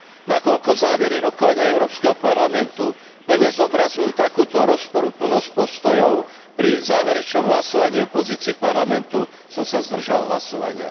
Nakoľko závery rokovania Európskeho parlamentu plne zobrazujú takúto rozporuplnosť postojov, pri záverečnom hlasovaní o pozícii Parlamentu som sa zdržal hlasovania.